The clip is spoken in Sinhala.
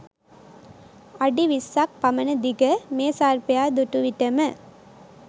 අඩි විස්සක් පමණ දිග මේ සර්පයා දුටු විටම